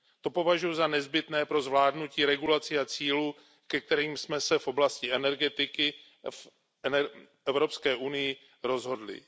To považuji za nezbytné pro zvládnutí regulací a cílů, ke kterým jsme se v oblasti energetiky v Evropské unii rozhodli.